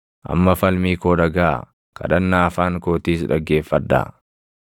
Amma falmii koo dhagaʼaa; kadhannaa afaan kootiis dhaggeeffadhaa.